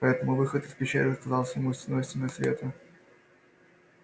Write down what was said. поэтому выход из пещеры казался ему стеной стеной света